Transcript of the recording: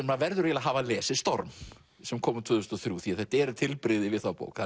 maður verður að hafa lesið storm sem kom út tvö þúsund og þrjú því þetta eru tilbrigði við þá bók